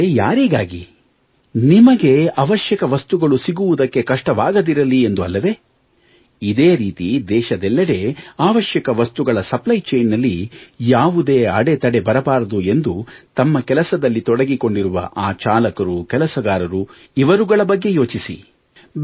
ಆದರೆ ಯಾರಿಗಾಗಿ ನಿಮಗೆ ಅವಶ್ಯಕ ವಸ್ತುಗಳು ಸಿಗುವುದಕ್ಕೆ ಕಷ್ಟವಾಗದಿರಲಿ ಎಂದು ಅಲ್ಲವೇ ಇದೇ ರೀತಿ ದೇಶದೆಲ್ಲೆಡೆ ಅವಶ್ಯಕ ವಸ್ತುಗಳ ಸಪ್ಲೈ ಚೈನ್ ನಲ್ಲಿ ಯಾವುದೇ ಅಡೆತಡೆ ಬರಬಾರದು ಎಂದು ತಮ್ಮ ಕೆಲಸದಲ್ಲಿ ತೊಡಗಿಕೊಂಡಿರುವ ಆ ಚಾಲಕರು ಕೆಲಸಗಾರರು ಇವರುಗಳ ಬಗ್ಗೆ ಯೋಚಿಸಿ